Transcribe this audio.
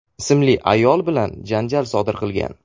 ismli ayol bilan janjal sodir qilgan.